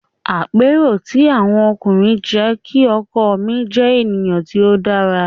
Àpérò ti àwọn ọkùnrin jẹ́ kí ọkọ mi jẹ́ ènìyàn tí ó dára.